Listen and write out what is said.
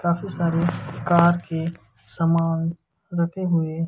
काफी सारे कार के समान रखे हुए--